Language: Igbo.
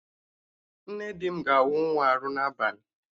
Nne di m ga-awụ nwa arụ n'abalị